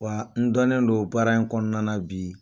Wa n dɔnnen don baara in kɔnɔna na bi